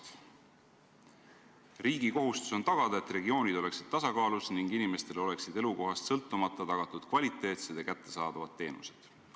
Ta on öelnud, et riigi kohustus on tagada, et regioonid oleksid tasakaalus ning inimestele oleksid elukohast sõltumata tagatud kvaliteetsed ja kättesaadavad teenused.